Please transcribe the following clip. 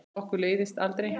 Okkur leiðist aldrei!